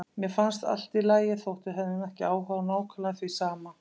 Mér fannst allt í lagi þótt við hefðum ekki áhuga á nákvæmlega því sama.